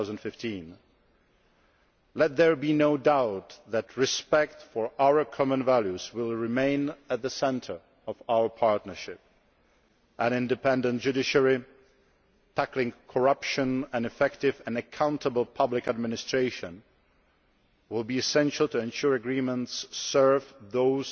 2015. Let there be no doubt that respect for our common values will remain at the centre of our partnership an independent judiciary, tackling corruption, and effective and accountable public administration will be essential to ensure agreements serve those